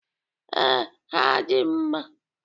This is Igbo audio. Ee, ha dị mma.